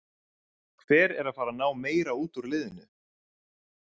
Hver er að fara að ná meira út úr liðinu?